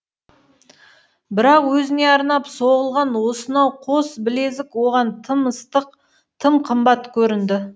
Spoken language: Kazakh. бірақ өзіне арнап соғылған осынау қос білезік оған тым ыстық тым қымбат көрінді